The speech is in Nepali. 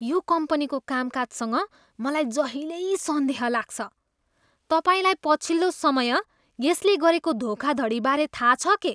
यो कम्पनीको कामकाजसँग मलाई जहिल्यै सन्देह लाग्छ। तपाईँलाई पछिल्लो समय यसले गरेको धोखाधडीबारे थाहा छ के?